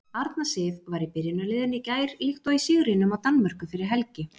Arna Sif var í byrjunarliðinu í gær líkt og í sigrinum á Danmörku fyrir helgi.